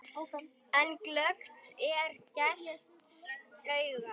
En glöggt er gests augað.